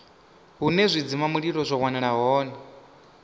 hune zwidzimamulilo zwa wanala hone